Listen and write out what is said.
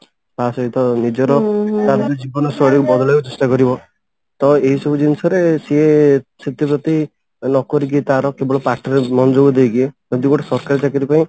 ତା ସହିତ ନିଜର ତାପରେ ନିଜର ଜୀବନ ଶୈଳୀକୁ ବଦଳେଇବାକୁ ଚେଷ୍ଟା କରିବ ତ ଏଇ ସବୁ ଜିନିଷରେ ସିଏ ଛୁଟି ଫୁଟି ନକରିକି ତାର କେବଳ ପାଠରେ ମନଯୋଗ ଦେଇକି ମାନେ ଯଉ ଗୋଟେ ସରକାରୀ ଚାକିରି ପାଇଁ